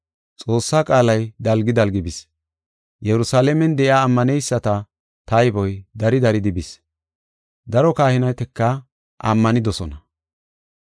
Xoossaa qaalay dalgi dalgi bis. Yerusalaamen de7iya ammaneyisata tayboy dari daridi bis; daro kahinetika ammanidosona.